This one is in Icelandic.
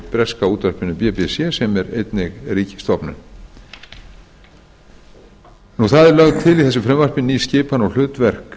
breska útvarpinu bbc sem er einnig ríkisstofnun það er lögð til í þessu frumvarpi ný skipan og hlutverk